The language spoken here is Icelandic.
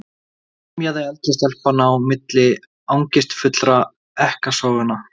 emjaði eldri stelpan á milli angistarfullra ekkasoganna.